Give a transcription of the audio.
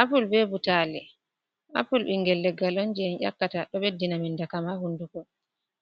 Apul bee butaali, apul ɓinngel leggal on jey en ƴakkata, ɗo ɓeddina men dakam hunnduko,